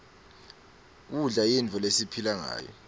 kudla yinfo lesiphila ngayo